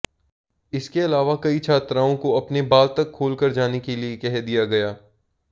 इसके अलावा कई छात्राओं को अपने बाल तक खोलकर जाने के लिए कह दिया गया